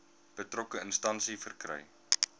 betrokke instansie verkry